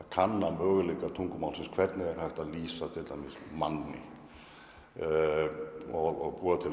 kannar möguleika tungumálsins hvernig er hægt að lýsa manni og búa til